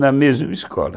na mesma escola.